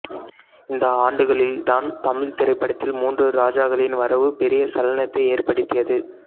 இந்த ஆண்டுகளில் தான் தமிழ்த் திரைப்படத்தில் மூன்று ராஜாக்களின் வரவு பெரிய சலனத்தை ஏற்படுத்தியது